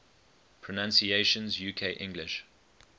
pronunciations uk english